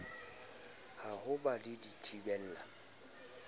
a ho ba le dithibela